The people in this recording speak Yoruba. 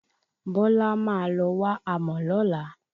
Bọ́lá máa lọ wá amò lọ́la.